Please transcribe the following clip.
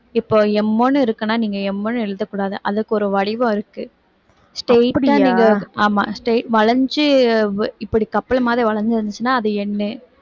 இப்போ M ன்னுருக்குன்னா நீங்க M ன்னு எழுதக் கூடாது அதுக்கு ஒரு வடிவம் இருக்கு straight ஆ நீங்க ஆமா st~ வளைஞ்சு இப்படி கப்பல் மாதிரி வளைஞ்சிருந்துச்சுன்னா அது N